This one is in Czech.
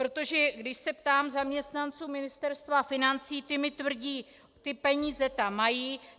Protože když se ptám zaměstnanců Ministerstva financí, ti mi tvrdí - ty peníze tam mají.